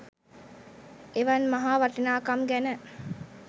එවන් මහා වටිනාකම් ගැන